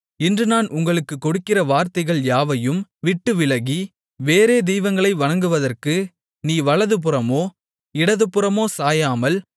இன்று நான் உங்களுக்கு கொடுக்கிற வார்த்தைகள் யாவையும் விட்டுவிலகி வேறே தெய்வங்களை வணங்குவதற்கு நீ வலதுபுறமோ இடதுபுறமோ சாயாமல்